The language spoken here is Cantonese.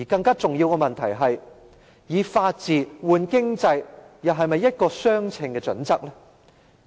更重要的問題是，以法治換經濟又是否一個相稱的準則？